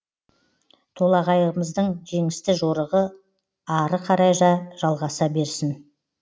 толоғайларымыздың жеңісті жорығы ары қарай да жалғаса берсін